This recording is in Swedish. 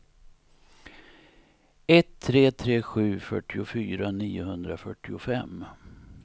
ett tre tre sju fyrtiofyra niohundrafyrtiofem